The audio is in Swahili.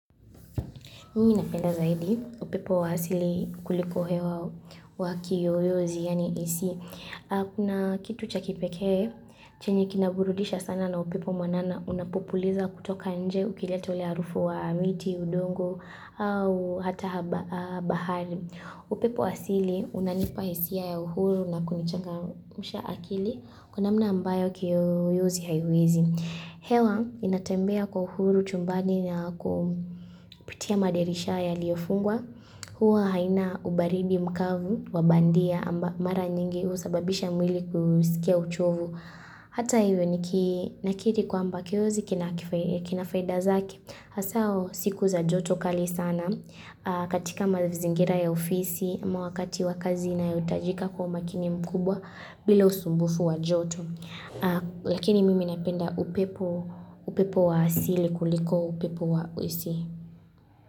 Mimi napenda zaidi upepo wa hasili kuliko hewa wa kiyoyozi, yani AC. Kuna kitu cha kipeke, chenye kinaburudisha sana na upepo mwanana unapopuliza kutoka nje ukilieta ile harufu wa miti, udongo, au hata bahari. Upepo hasili unanipa isia ya uhuru na kunichangamsha akili kunamna ambayo kiyoyozi haiwezi. Hewa inatembea kwa uhuru chumbani na kupitia madirisha yaliofungwa huwa haina ubaridi mkavu wabandia amba mara nyingi usababisha mwili kusikia uchovu Hata hivyo nikinakiri kwamba kiyoyozi kinafaida zake Hasao siku za joto kali sana katika mazingira ya ofisi ama wakati wakazi nayoitajika kwa umakini mkubwa bila usumbufu wa joto lakini mimi napenda upepo upepo wa asili kuliko upepo wa ACi.